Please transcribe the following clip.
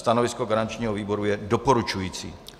Stanovisko garančního výboru je doporučující.